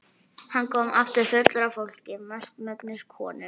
Hann kom aftur fullur af fólki, mestmegnis konum.